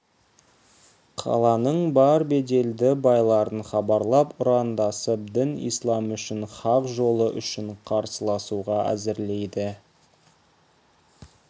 қаланың бар беделді байларын хабарлап ұрандасып дін ислам үшін хақ жолы үшін қарсыласуға әзірлейді